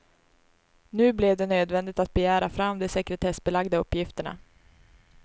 Nu blev det nödvändigt att begära fram de sekretessbelagda uppgifterna.